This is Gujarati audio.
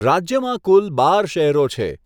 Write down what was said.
રાજ્યમાં કુલ બાર શહેરો છે.